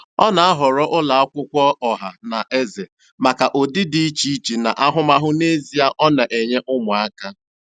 Ọ na-ahọrọ ụlọ akwụkwọ ọha na eze maka ụdị dị iche iche na ahụmahụ n'ezie ọ na-enye ụmụaka.